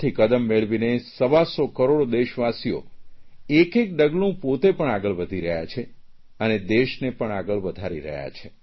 કદમથી કદમ મેળવીને સવા સો કરોડ દેશવાસીઓ એક એક ડગલું પોતે પણ આગળ વધી રહ્યા છે અને દેશને પણ આગલ વધારી રહ્યા છે